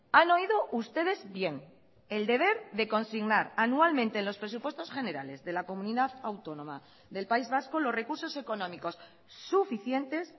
han oído ustedes bien el deber de consignar anualmente en los presupuestos generales de la comunidad autónoma del país vasco los recursos económicos suficientes